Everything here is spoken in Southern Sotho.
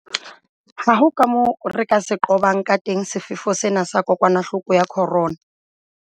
Ha ho kamoo re ka se qobang kateng sefefo sena sa kokwanahloko ya corona.